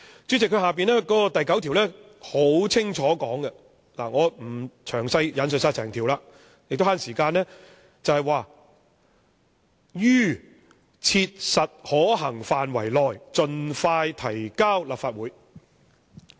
"主席，接着提及的第9條很清楚地說明——為了節省時間，我不詳細引述整項條例了——"於切實可行範圍內盡快提交立法會"。